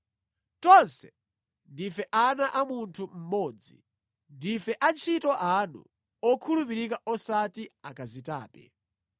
Tonse ndife ana a munthu mmodzi. Ndife antchito anu okhulupirika osati akazitape.”